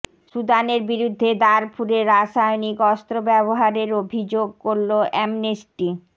সুদানের বিরুদ্ধে দারফুরে রাসায়নিক অস্ত্র ব্যবহারের অভিযোগ করলো অ্যামনেস্টি